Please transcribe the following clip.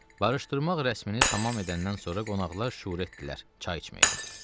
Barışdırmaq rəsmimi tamam edəndən sonra qonaqlar şüur etdilər çay içməyə.